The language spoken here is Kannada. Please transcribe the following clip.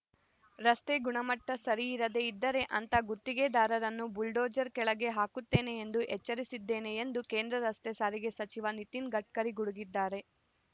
ರಸ್ತೆ ಗುಣಮಟ್ಟಸರಿ ಇರದೇ ಇದ್ದರೆ ಅಂಥ ಗುತ್ತಿಗೆದಾರರನ್ನು ಬುಲ್ಡೋಜರ್‌ ಕೆಳಗೆ ಹಾಕುತ್ತೇನೆ ಎಂದು ಎಚ್ಚರಿಸಿದ್ದೇನೆ ಎಂದು ಕೇಂದ್ರ ರಸ್ತೆ ಸಾರಿಗೆ ಸಚಿವ ನಿತಿನ್‌ ಗಡ್ಕರಿ ಗುಡುಗಿದ್ದಾರೆ